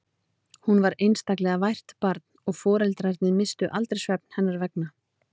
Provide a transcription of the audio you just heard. Hún var einstaklega vært barn og foreldrarnir misstu aldrei svefn hennar vegna.